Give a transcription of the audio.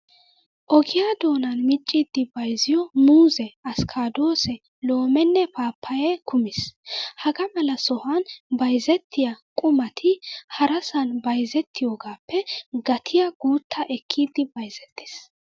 Ogiyaa doonan miccidi bayizziyoo muuzze, askkadoosee, loomeenne paappayee kumis. Hagaa mala sohan bayizettiyaa qumati harasan bayizettiyaagaappe gatiyaa guuttaa ekkidi bayizettes.